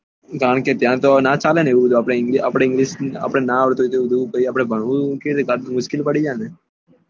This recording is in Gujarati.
કારણકે ત્યાં તો ના ચાલે ને એવું બધું આપડે ત્યાં english ના આવડતું હોય તો ભણવું કે રીતે મુશ્કેલ પડી જાય ને